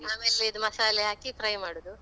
ಆಮೇಲೆ ಇದು ಮಸಾಲೆ ಹಾಕಿ fry ಮಾಡುದು.